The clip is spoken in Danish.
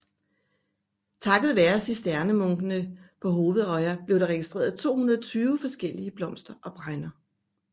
Takket være cisterciensermunkene på Hovedøya blev der registreret 220 forskellige blomster og bregner